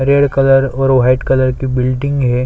Red colour और white colour की building है।